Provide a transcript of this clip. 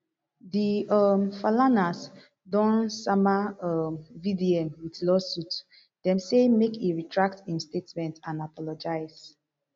di um falanas don sama um vdm wit lawsuit dem say make e retract im statement and apologise